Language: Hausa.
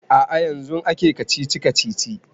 A'a yanzun ake kacici-kacici